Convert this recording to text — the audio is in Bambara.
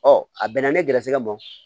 Ɔ a bɛnna ne gɛrɛsɛgɛ ma